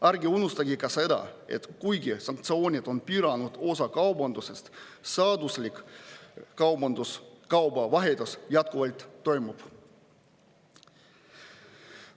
Ärge unustage ka seda, et kuigi sanktsioonid on piiranud osa kaubandusest, seaduslik kaubavahetus jätkuvalt toimub.